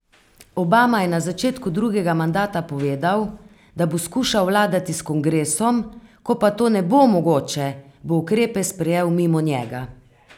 Obama je na začetku drugega mandata povedal, da bo skušal vladati s kongresom, ko pa to ne bo mogoče, bo ukrepe sprejel mimo njega.